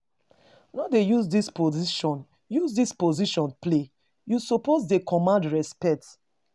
No dey use dis position use dis position play, you suppose dey command respect.